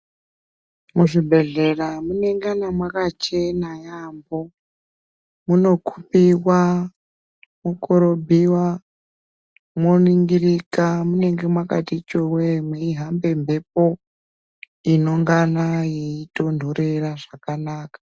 Muzvibhehlera munenge makachena yampho munokuiwa mokorobhiwa moningirika munenge makati chowee meihamba mhepo inongana yeitonhorera zvakanaka .